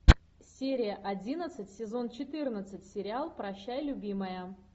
серия одиннадцать сезон четырнадцать сериал прощай любимая